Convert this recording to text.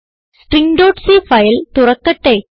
stringസി file തുറക്കട്ടെ